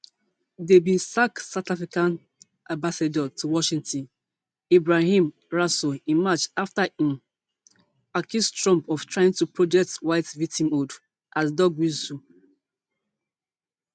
dem bin sack south africa ambassador to washington ebrahim rasool in march afta im um accuse trump of trying to project white victimhood as dog whistle